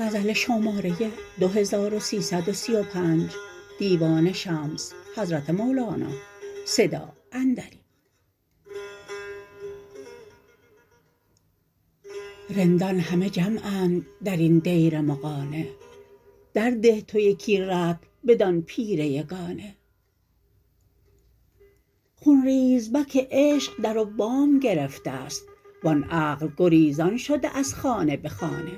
رندان همه جمعند در این دیر مغانه درده تو یکی رطل بدان پیر یگانه خون ریزبک عشق در و بام گرفته ست و آن عقل گریزان شده از خانه به خانه